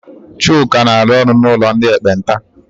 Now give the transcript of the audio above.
Chuka na-alụ ọrụ n'ụlọ ndị ekpenta.